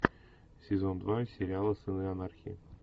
сезон два сериала сыны анархии